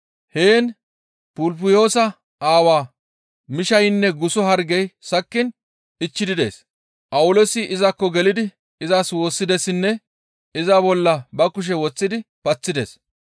Heen Pupulyoosa aawa miishshaynne guso hargey sakkiin ichchidi dees; Phawuloosi izakko gelidi izas woossidessinne iza bolla ba kushe woththidi paththides.